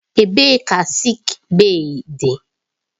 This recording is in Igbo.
Ebee ka sịịk bèyí dị?